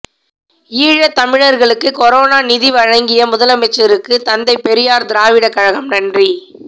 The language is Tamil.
ஈழத்தமிழர்களுக்கு கொரோனா நிதி வழங்கிய முதலமைச்சருக்கு தந்தை பெரியார் திராவிடர் கழகம் நன்றி